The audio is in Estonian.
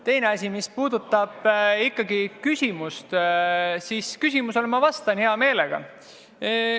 Teine asi – mis puudutab küsimust, siis küsimusele vastan ma hea meelega.